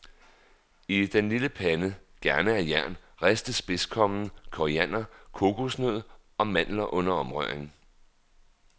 I den lille pande, gerne af jern, ristes spidskommen, koriander, kokosnød og mandler under omrøring.